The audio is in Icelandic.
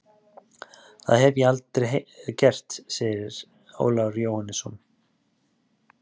Það hef ég aldrei gert, segir Ólafur Jóhannesson.